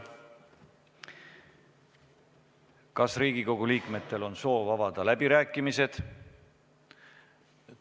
Kas Riigikogu liikmetel on soovi avada läbirääkimisi?